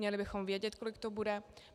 Měli bychom vědět, kolik to bude.